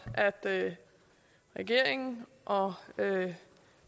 at regeringen og